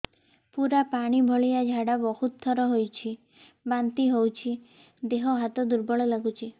ପୁରା ପାଣି ଭଳିଆ ଝାଡା ବହୁତ ଥର ହଉଛି ବାନ୍ତି ହଉଚି ଦେହ ହାତ ଦୁର୍ବଳ ଲାଗୁଚି